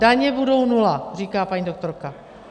Daně budou nula, říká paní doktorka.